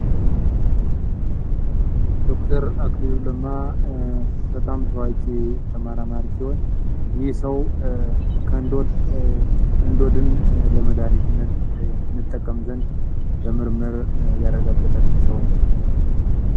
ዶ.ር አክሊሉ ለማ በጣም ታዋቂ ተመራማሪ ሲሆን ይህ ሰዉ ከእንዶድ እንዶድን ለመድሀኒትነት እንጠቀም ዘንድ በምርምር ያረጋገጠልን ሰዉ ነዉ።